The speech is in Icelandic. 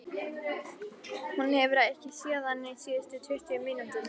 Hún hefur ekki séð hann síðustu tuttugu mínúturnar.